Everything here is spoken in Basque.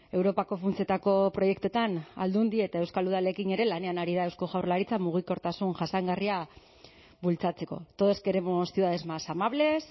europako funtsetako proiektuetan aldundi eta euskal udalekin ere lanean ari da eusko jaurlaritza mugikortasun jasangarria bultzatzeko todos queremos ciudades más amables